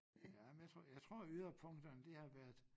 Ja men jeg tror jeg tror yderpunkterne de har været